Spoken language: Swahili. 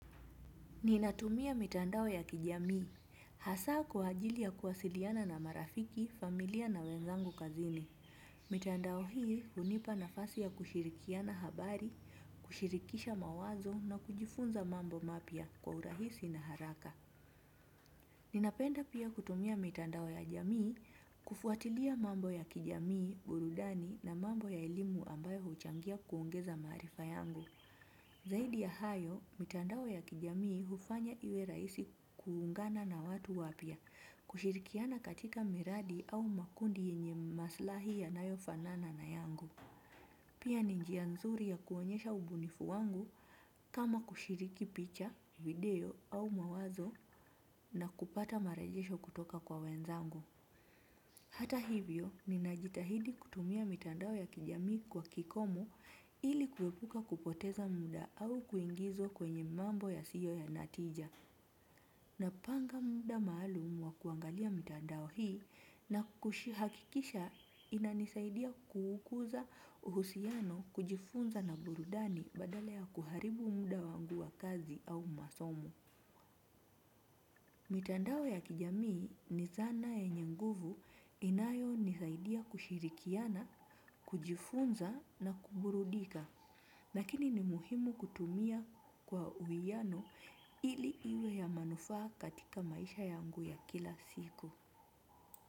Ninatumia mitandao ya kijamii, hasa kwa ajili ya kuwasiliana na marafiki, familia na wenzangu kazini. Mitandao hii hunipa nafasi ya kushirikiana habari, kushirikisha mawazo na kujifunza mambo mapya kwa urahisi na haraka. Ninapenda pia kutumia mitandao ya jamii, kufuatilia mambo ya kijamii, burudani na mambo ya elimu ambayo huchangia kuongeza maarifa yangu. Zaidi ya hayo, mitandao ya kijamii hufanya iwe rahisi kuungana na watu wapya, kushirikiana katika miradi au makundi yenye maslahi yanayofanana na yangu. Pia ni njia nzuri ya kuonyesha ubunifu wangu kama kushiriki picha, video au mawazo na kupata marajesho kutoka kwa wenzangu. Hata hivyo, ninajitahidi kutumia mitandao ya kijamii kwa kikomo ili kuepuka kupoteza muda au kuingizwa kwenye mambo yasiyo na tija. Napanga muda maalum wa kuangalia mitandao hii na kuhakikisha inanisaidia kukuza uhusiano kujifunza na burudani badala ya kuharibu muda wangu wa kazi au masomo. Mitandao ya kijamii ni zana yenye nguvu inayonisaidia kushirikiana, kujifunza na kuburudika, lakini ni muhimu kutumia kwa uwiano ili iwe ya manufaa katika maisha yangu ya kila siku.